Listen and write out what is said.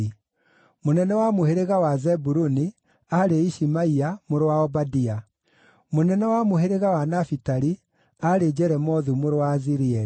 mũnene wa mũhĩrĩga wa Zebuluni aarĩ Ishimaia mũrũ wa Obadia; mũnene wa mũhĩrĩga wa Nafitali aarĩ Jeremothu mũrũ wa Azirieli;